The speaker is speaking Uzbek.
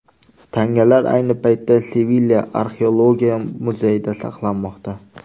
Tangalar ayni paytda Sevilya Arxeologiya muzeyida saqlanmoqda.